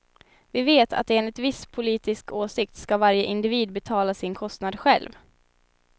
Vi vet att enligt viss politisk åsikt ska varje individ betala sin kostnad själv.